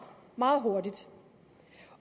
meget hurtigt